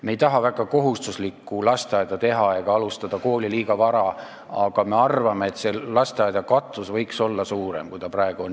Me ei taha väga kohustuslikku lasteaeda teha ega alustada kooli liiga vara, aga me arvame, et lasteaedade katvus võiks olla suurem, kui see praegu on.